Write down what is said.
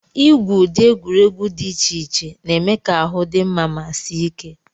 Igwu ụdị egwuregwu dị iche iche na-eme ka ahụ dị mma ma sie ike.